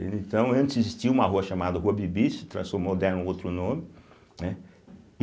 Então, antes existia uma rua chamada Rua Bibi, se transformou, deram outro nome, né. e